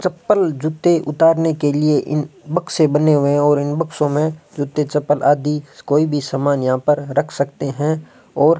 चप्पल जूते उतारने के लिए इन बक्से बने हुए हैं और इन बक्सों में जूते चप्पल आदि कोई भी सामान यहां पर रख सकते हैं और --